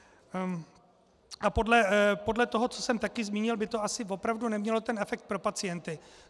A podle toho, co jsem také zmínil, by to asi opravdu nemělo ten efekt pro pacienty.